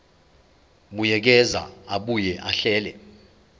buyekeza abuye ahlele